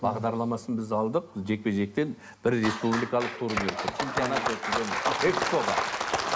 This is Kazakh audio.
бағдарламасын біз алдық жекпе жектен бір республикалық турнир чемпионат өткіземіз